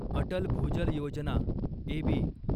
Atal Bhujal Yojana AB